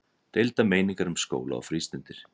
Deildar meiningar um skóla og frístundir